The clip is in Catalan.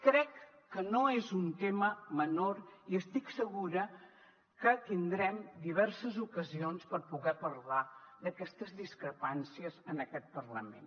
crec que no és un tema menor i estic segura que tindrem diverses ocasions per poder parlar d’aquestes discrepàncies en aquest parlament